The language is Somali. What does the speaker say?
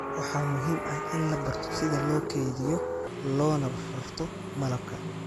waxaa muhiim ah in la barto sida loo kaydiyo loona rarto malabka